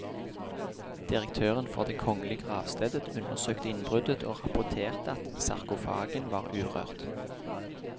Direktøren for det kongelige gravstedet undersøkte innbruddet og rapporterte at sarkofagen var urørt.